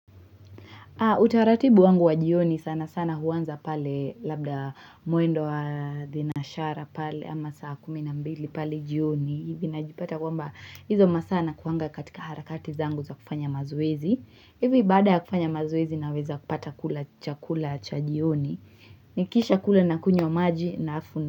Utaratibu wangu wa jioni sana sana huanza pale labda mwendo wa thenashara pale ama saa kumi na mbili pale jioni hivi najipata kwamba hizo masaa nakuanga katika harakati zangu za kufanya mazoezi hivi baada ya kufanya mazoezi naweza kupata kula chakula cha jioni nikishakula nakunywa maji na afu na.